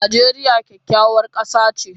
Najeriya kyakkyawar kasa ce